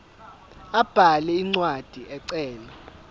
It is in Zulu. abhale incwadi ecela